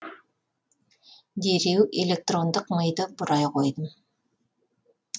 дереу электрондық миды бұрай қойдым